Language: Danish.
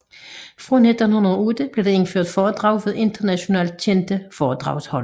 Fra 1908 blev der indført foredrag ved internationalt kendte foredragsholdere